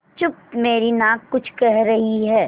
चुप मेरी नाक कुछ कह रही है